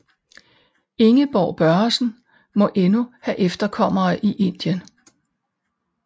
Ingeborg Børresen må endnu have efterkommere i Indien